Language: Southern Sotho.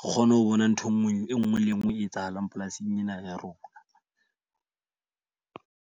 kgone ho bona ntho e nngwe le e nngwe le e nngwe e etsahalang polasing ena ya rona.